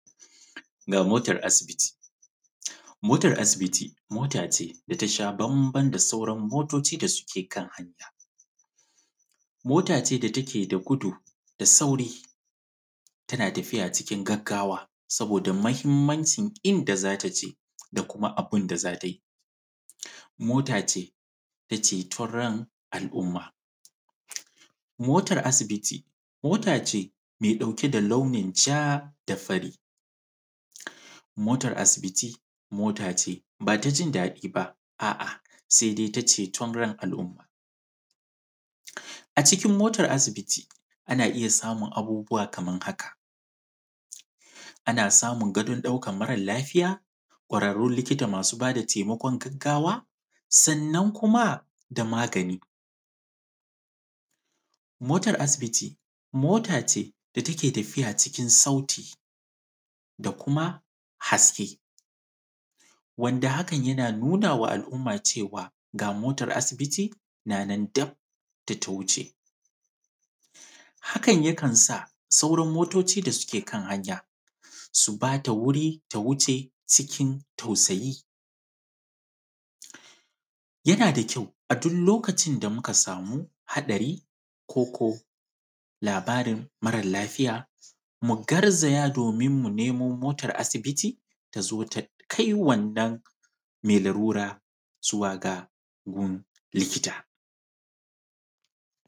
Na motar asibiti. Motar asibiti mot ace da ta sha bamban da sauran motoci da suke kan hanya. Mot ace da take da gudu da sauri, tana tafiya cikin gaggawa, saboda mahimmancin inda za ta je da kuma abin da za tai. Mota ce ta ceton ran al’umma. Motar asibiti, mot ace me ɗauke da launin ja da fari. Motar asibiti, mota ce ba ta jin daɗi ba, a’a, se dai ta ceton ran al’umma. A cikin motar asibiti, ana iya samun abubuwa kamar haka: ana samun gadon ɗaukar marar lafiya, ƙwararrun likita masu ba da temakon gaggawa, sannan kuma da magani. Motar asibiti, mota ce da take tafiya cikin sauti da kuma haske, wanda hakan yana nuna wa al’uma cewa, ga motar asibiti na nan daf da ta wuce. Hakan yakan sa, sauran motoci da suke kan hanya, su ba da wuri ta wuce cikin tausayi. Yana da kyau, a dul lokacin da muka samu hatsari koko labarin maral lafiya, mu garzaya domin mu nemo motar asibiti ta zo ta ɗ; kai wannan me larura zuwa ga gun likita.